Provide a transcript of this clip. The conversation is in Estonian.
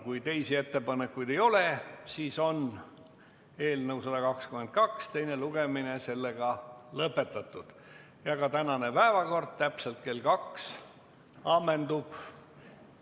Kui teisi ettepanekuid ei ole, siis on eelnõu 122 teine lugemine sellega lõpetatud ja ka tänane päevakord täpselt kell 14 ammendub.